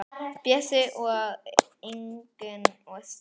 Bjössi, Ingunn og Stefán.